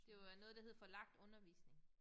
Det var noget der hed forlagt undervisning